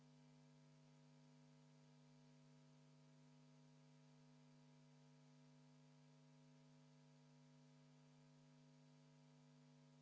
Enne kui me võtame vastu küsimusi sotsiaalkaitseminister Signe Riisalole, on kaks protseduurilist küsimust.